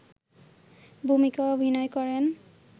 ভূমিকায় অভিনয় করেন